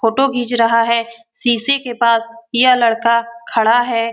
Photo घिंच रहा हैं। शीशे के पास यह लड़का खड़ा है।